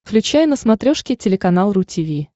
включай на смотрешке телеканал ру ти ви